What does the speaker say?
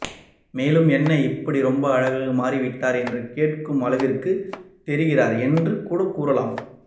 மேலும் என்ன இப்படி ரொம்ப அழகாக மாறிவிட்டார் என்று கேட்கும் அளவிற்கு தெரிகிறார் என்று கூட கூறலாம்